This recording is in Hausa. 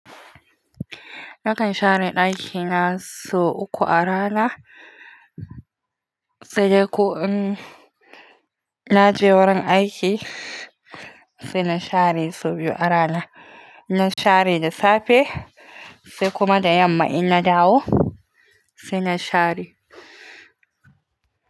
Nakan share ɗakina sau uku a rana, sai dai ko in naje wurin aiki sai na share sau biyu a rana. Na share da safe sai kuma da yamma in na dawo sai na share.